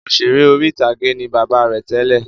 Òṣèré orí-ìtàgé ni bàbá rẹ̀ tẹ́lẹ̀